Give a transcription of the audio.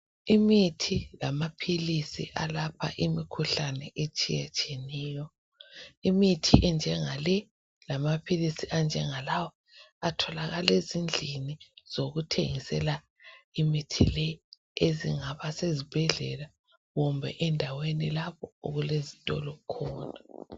Imithi lama philisi okwelapha imikhuhlane etshiyatshiyeneyo imithi enjengale lama philisi anjenga lawa atholakala ezindlini zokuthengisela imithi le ezingaba sezibhedlela kumbe endaweni lapho okulezitolo khona.